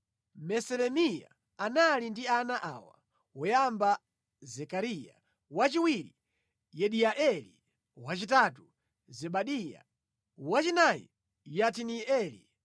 Meselemiya anali ndi ana awa: woyamba Zekariya, wachiwiri Yediaeli, wachitatu Zebadiya, wachinayi Yatinieli,